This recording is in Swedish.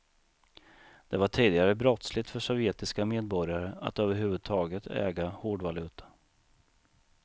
Det var tidigare brottsligt för sovjetiska medborgare att överhuvudtaget äga hårdvaluta.